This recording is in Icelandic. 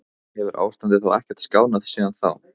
En hefur ástandið þá ekkert skánað síðan þá?